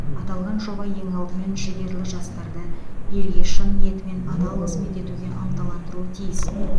аталған жоба ең алдымен жігерлі жастарды елге шын ниетімен адал қызмет етуге ынталандыруы тиіс